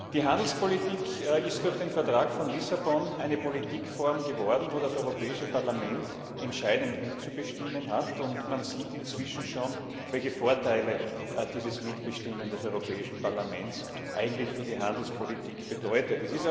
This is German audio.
Die Handelspolitik ist durch den Vertrag von Lissabon eine Politikform geworden, bei der das Europäische Parlament entscheidend mitzubestimmen hat, und man sieht inzwischen schon, welche Vorteile dieses Mitbestimmen des Europäischen Parlaments eigentlich für die Handelspolitik bedeutet.